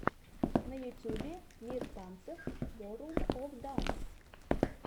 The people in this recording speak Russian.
на ютубе мир танцев ворлд оф данс